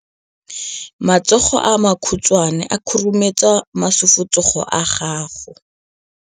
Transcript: Matsogo a makhutshwane a khurumetsa masufutsogo a gago.